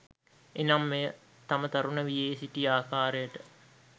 එනම් මෙය තම තරුණ වියේ සිටි ආකාරයට